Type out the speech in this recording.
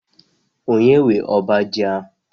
Onye nwe ọbá ji a?